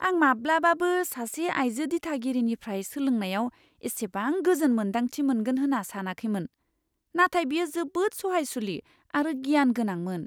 आं माब्लाबाबो सासे आइजो दिथागिरिनिफ्राय सोलोंनायाव एसेबां गोजोन मोन्दांथि मोनगोन होन्ना सानाखैमोन, नाथाय बियो जोबोद सहायसुलि आरो गियान गोनांमोन।